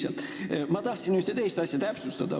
Ent ma tahan ühte teist asja täpsustada.